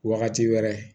Wagati wɛrɛ